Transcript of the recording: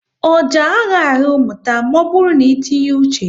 Ọjà à ghaghị ahụ mmụta maọbụru n'itinye uche